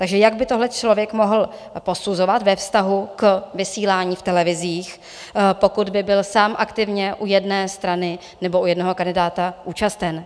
Takže jak by tohle člověk mohl posuzovat ve vztahu k vysílání v televizích, pokud by byl sám aktivně u jedné strany nebo u jednoho kandidáta účasten?